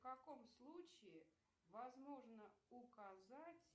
в каком случае возможно указать